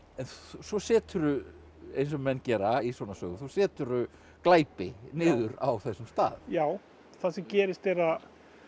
svo seturðu eins og menn gera í svona sögu svo seturðu glæpi niður á þessum stað já það sem gerist er að